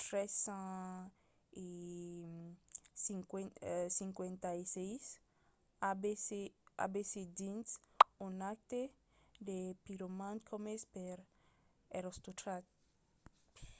356 abc dins un acte de piroman comés per erostrat